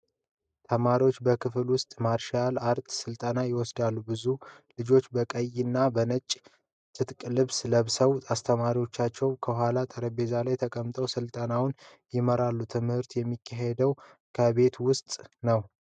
ተማሪዎች በክፍል ውስጥ ማርሻል አርትስ ስልጠና ይወስዳሉ። ብዙ ልጆች በቀይና በጥቁር የትግል ልብስ ለብሰዋል። አስተማሪዎቻቸው ከኋላ ጠረጴዛ ላይ ተቀምጠው ስልጠናውን ይመራሉ. ትምህርቱ የሚካሄደው ከቤት ውስጥ ነው።